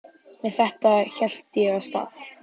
Með þetta hélt ég af stað.